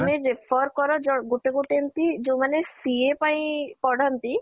ତମେ prefer କର ଯେ ଗୋଟେ ଗୋଟେ ଏମିତି ଯୋଉ ମାନେ CA ପାଇଁ ପଢ଼ନ୍ତି